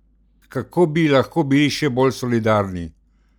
Kako bi lahko bili še bolj solidarni?